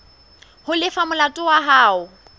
ho lefa molato wa hao